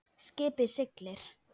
Skipið siglir.